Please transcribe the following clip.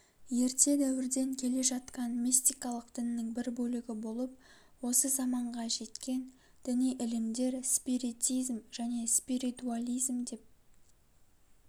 ерте дәуірден келе жатқан мистикалық діннің бір бөлігі болып осы заманға жеткен діни ілімдер спиритизм және спиритуализм деп